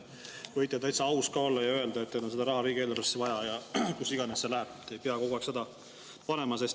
Võite täitsa aus olla ja öelda, et teil on seda raha riigieelarvesse vaja, kuhu iganes see läheb, te ei pea kogu aeg seda.